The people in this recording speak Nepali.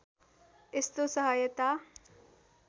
यस्तो सहायता